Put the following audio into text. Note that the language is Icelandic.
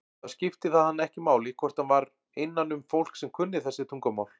Þá skipti það hann ekki máli hvort hann var innanum fólk sem kunni þessi tungumál.